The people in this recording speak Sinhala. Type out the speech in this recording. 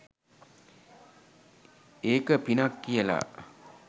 ඒක පිනක් කියලා.